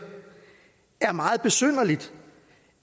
er det meget besynderligt